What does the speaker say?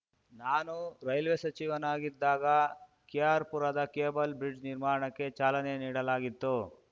ನಾನು ರೈಲ್ವೇ ಸಚಿವನಾಗಿದ್ದಾಗ ಕೆಆರ್‌ ಪುರದ ಕೇಬಲ್‌ ಬ್ರಿಡ್ಜ್‌ ನಿರ್ಮಾಣಕ್ಕೆ ಚಾಲನೆ ನೀಡಲಾಗಿತ್ತು